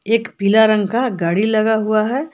एक पीला रंग का गाड़ी लगा हुआ है।